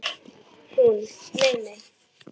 Hún: Nei nei.